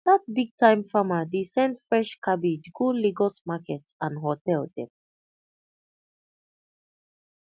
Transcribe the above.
that bigtime farmer dey send fresh cabbage go lagos market and hotel dem